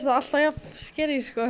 alltaf jafn scary